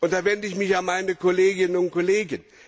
Da wende ich mich an meine Kolleginnen und Kollegen.